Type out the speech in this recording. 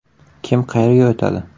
Kim qayerga o‘tadi?